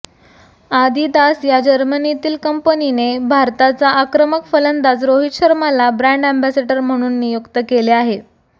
Adidas या जर्मनीतील कंपनीने भारताचा आक्रमक फलंदाज रोहित शर्माला ब्रँड अँबॅसॅडर म्हणून नियुक्त केले आहे